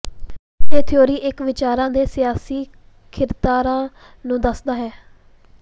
ਇਹ ਥਿਊਰੀ ਇੱਕ ਵਿਚਾਰ ਦੇ ਸਿਆਸੀ ਖਿਿਾਰਕਤਾ ਨੂੰ ਦੱਸਦਾ ਹੈ